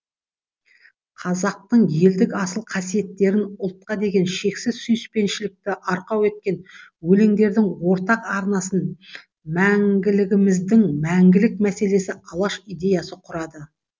қазақтың елдік асыл қасиеттерін ұлтқа деген шексіз сүйіспеншілікті арқау еткен өлеңдердің ортақ арнасын мәңгілігіміздің мәңгілік мәселесі алаш идеясы құрады